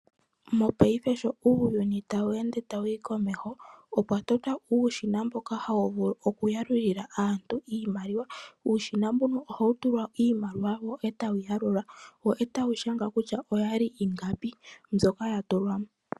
Mopaife ngeyi uuyuni sho tawu ende tawu yi komeho, opwa totwa uushina mboka hawu vulu okuyalulila aantu iimaliwa . Uushina mbono ohawu tulwa iimaliwa etawu yi yalula , wo etawu yi shanga kutya oyali ingapi mbyoka yatulwamo.